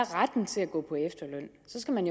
retten til at gå på efterløn skal man